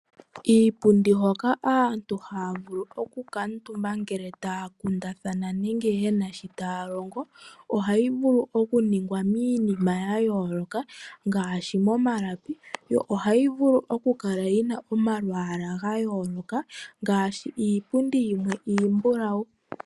Iipundi hoka aantu ha ya vulu oku kaantumba ngele ta ya kundathana nenge ngele yena shi ta ya longo, oha yi vulu okuningwa miinima ya yooloka, ngaashi mo malapi, yo oha yivulu oku kala yina omalwaala gayooloka, ngaashi iipundi yimwe iimbulawu.